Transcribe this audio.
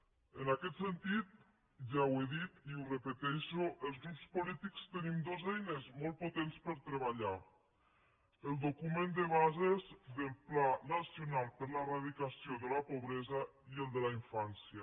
en aquest sentit ja ho he dit i ho repeteixo els grups polítics tenim dues eines molt potents per treballar el document de bases del pacte nacional per l’eradicació de la pobresa i el de la infància